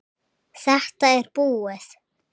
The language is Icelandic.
Þetta er búið